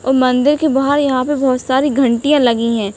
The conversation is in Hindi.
और मंदिर के बाहर यहाँ पे बोहोत सारी घंटिया लगी हैं।